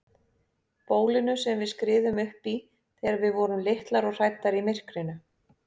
Bólinu sem við skriðum uppí þegar við vorum litlar og hræddar í myrkrinu.